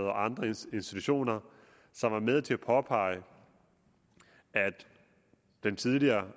og andre institutioner som var med til at påpege at den tidligere